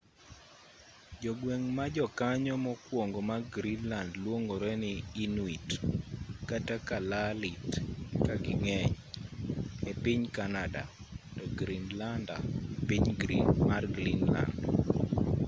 jogweng' ma jokanyo mokwongo mag greenland luongore ni 'inuit' kata kalaallit ka ging'eny e piny canada to 'greenlander' e piny mar greenland